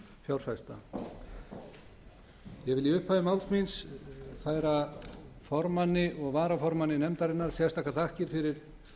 fjárfesta ég vil í upphafi máls míns færa formanni og varaformanni nefndarinnar sérstakar þakkir fyrir